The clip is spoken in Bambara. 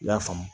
I y'a faamu